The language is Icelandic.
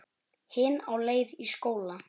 Hin á leið í skóla.